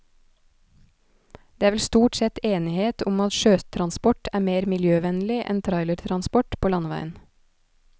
Det er vel stort sett enighet om at sjøtransport er mer miljøvennlig enn trailertransport på landeveien.